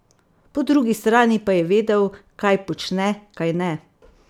Po drugi strani pa je vedel, kaj počne, kajne?